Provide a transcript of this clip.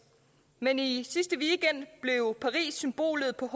men i i sidste weekend blev paris symbolet på